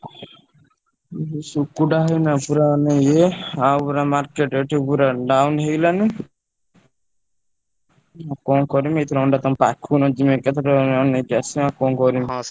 ଉଁ ହୁଁ ଶୁକୁଟା ଭାଇ ନା ପୁରା ମାନେ ଇଏ ଆଉ ପୁରା market ଏଠି ପୁରା down ହେଇଗଲାଣି। ଆଉ କଣ କରିବି ଏଥର ଅଣ୍ଡା ତମ ପାଖକୁ ନହେଲେ ଯିବି ଏକାଥରେ ଆଣିକି ଆସିବି। ଆଉ କଣ କରିବି।